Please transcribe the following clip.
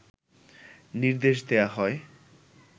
নির্দেশ দেয়া হয়